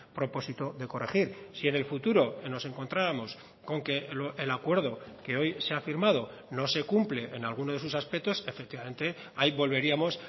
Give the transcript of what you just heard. propósito de corregir si en el futuro nos encontrábamos con que el acuerdo que hoy se ha firmado no se cumple en alguno de sus aspectos efectivamente ahí volveríamos